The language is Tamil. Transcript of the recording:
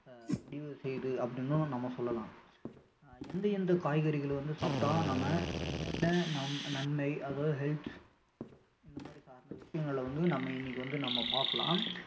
முடிவு செய்து அப்படின்னும் நம்ம சொல்லலாம் அஹ் எந்த எந்த காய்கறிகளை வந்து சாப்பிட்டா நம்ம என்னென்ன ந~ நன்மை அதாவது health இந்த மாதிரி விசயங்களை வந்து நம்ம இன்னைக்கி வந்து நம்ம பாக்கலாம்